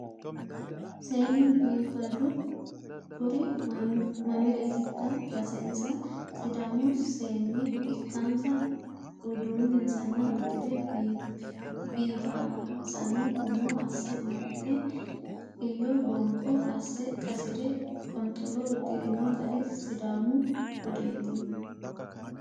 Seennu biifaddu kuri mamiretikka basessa? sidaamu seenne ikkansa uduuninsanni uddire biifansanni umo asse amaxe xiyo bonkoyo asse qasire qonxolo uddirino gari sidaamu budeti.